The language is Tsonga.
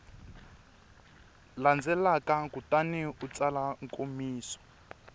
landzelaka kutani u tsala nkomiso